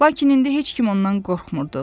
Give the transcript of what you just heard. Lakin indi heç kim ondan qorxmurdudu.